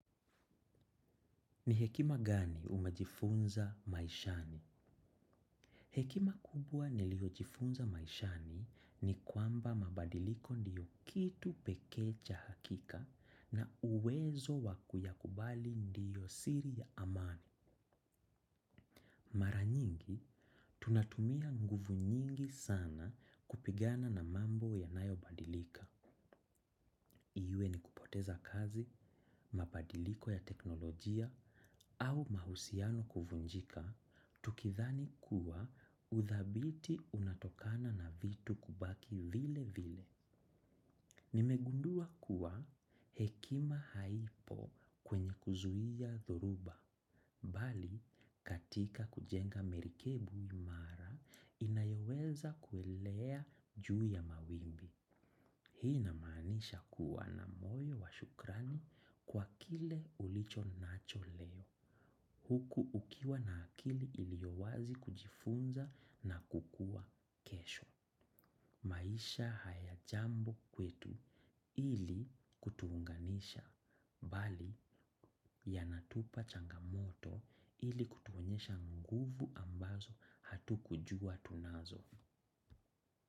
Ni hekima gani umajifunza maishani? Hekima kubwa niliojifunza maishani ni kwamba mabadiliko ndiyo kitu pekee cha hakika na uwezo wakuyakubali ndiyo siri ya amani. Mara nyingi, tunatumia nguvu nyingi sana kupigana na mambo yanayo badilika. Iwe ni kupoteza kazi, mabadiliko ya teknolojia, au mahusiano kuvunjika, tukidhani kuwa uthabiti unatokana na vitu kubaki vile vile. Nimegundua kuwa hekima haipo kwenye kuzuia dhoruba, bali katika kujenga merikebu imara inayoweza kuelea juu ya mawimbi. Hii na maanisha kuwa na moyo wa shukrani kwa kile ulicho nacho leo, huku ukiwa na akili iliowazi kujifunza na kukua kesho. Maisha haya jambo kwetu ili kutuunganisha, bali yanatupa changamoto ili kutuonyesha nguvu ambazo hatu kujua tunazo.